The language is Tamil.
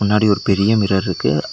முன்னாடி ஒரு பெரிய மிரர்ருக்கு .